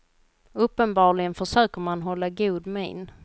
Uppenbarligen försöker man hålla god min.